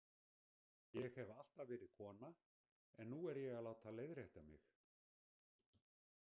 Ég hef alltaf verið kona en nú er ég að láta leiðrétta mig